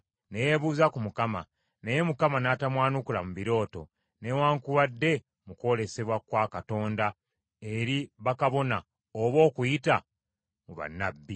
Ne yeebuuza ku Mukama , naye Mukama n’atamwanukula mu birooto, newaakubadde mu kwolesebwa kwa Katonda eri bakabona oba okuyita mu bannabbi.